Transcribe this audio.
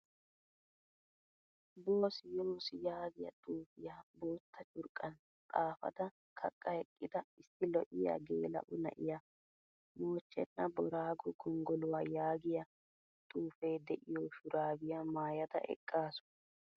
Bossi yoosi yaagiyaa xufiyaa boottaa curqqan xaafada kaqa eqqida issi lo'iyaa gela'o na'iyaa mochchena boorago gonggoluwaa yaagiyaa xuufe de'iyo shurabiyaa maayada eqqasu.